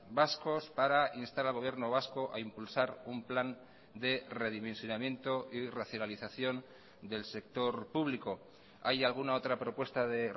vascos para instar al gobierno vasco a impulsar un plan de redimensionamiento y racionalización del sector público hay alguna otra propuesta de